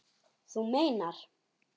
Þú meinar.